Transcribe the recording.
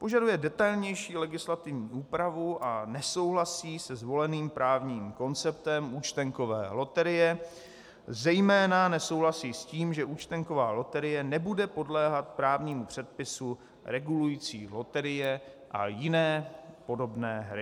Požaduje detailnější legislativní úpravu a nesouhlasí se zvoleným právním konceptem účtenkové loterie, zejména nesouhlasí s tím, že účtenková loterie nebude podléhat právnímu předpisu regulujícímu loterie a jiné podobné hry.